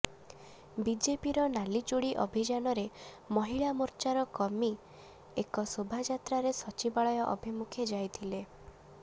ବିଜେପିର ନାଲି ଚୂଡି ଅଭିଯାନରେ ମହିଳା ମୋର୍ଚ୍ଚାର କର୍ମୀ ଏକ ଶୋଭାଯାତ୍ରାରେ ସଚିବାଳୟ ଅଭିମୁଖେ ଯାଇଥିଲେ